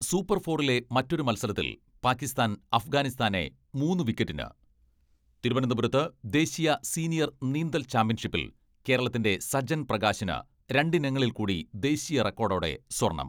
Super ഫോറിലെ മറ്റൊരു മത്സരത്തിൽ പാക്കിസ്ഥാൻ അഫ്ഗാനിസ്ഥാനെ മൂന്ന് വിക്കറ്റിന് തിരുവനന്തപുരത്ത് ദേശീയ സീനിയർ നീന്തൽ ചാമ്പ്യൻഷിപ്പിൽ കേരളത്തിന്റെ സജൻ പ്രകാശിന് രണ്ടിനങ്ങളിൽ കൂടി ദേശീയ റെക്കോഡോടെ സ്വർണ്ണം.